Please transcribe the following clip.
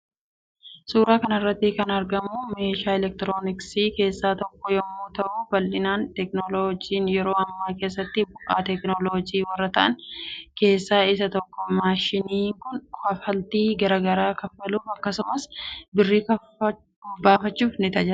Suuraa kanarratti kan argamu meeshaa elektirooniksii kessa tokko yommuu ta'uu babal'ina teeknooloojii yero amma keessatti bu'a teeknooloojii warra ta'an keessa isa tokko maashinni Kun kaffaltii garaa garaa kaffaluuf akkasumas birrii baafachuun ni tajaajila.